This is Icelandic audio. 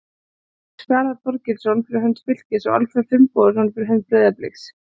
Í gær mættust Fjalar Þorgeirsson fyrir hönd Fylkis og Alfreð Finnbogason fyrir hönd Breiðabliks.